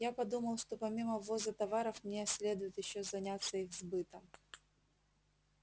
я подумал что помимо ввоза товаров мне следует ещё заняться их сбытом